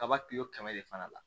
Kaba kilo kɛmɛ de fana la